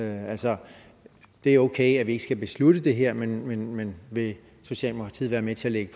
altså det er okay at vi ikke skal beslutte det her men men vil socialdemokratiet være med til at lægge